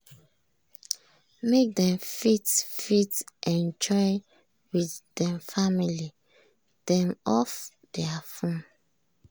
make dem fit fit enjoy with dem family dem off thier phone.